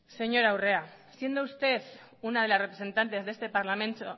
señora urrea siendo usted una de las representantes de este parlamento